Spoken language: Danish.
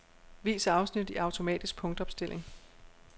Vis afsnit i automatisk punktopstilling.